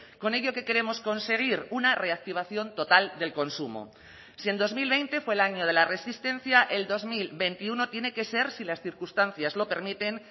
con ello qué queremos conseguir una reactivación total del consumo si en dos mil veinte fue el año de la resistencia el dos mil veintiuno tiene que ser si las circunstancias lo permiten